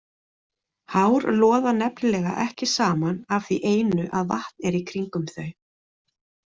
Hár loða nefnilega ekki saman af því einu að vatn er kringum þau.